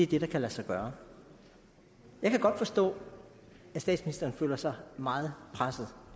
det der kan lade sig gøre jeg kan godt forstå at statsministeren føler sig meget presset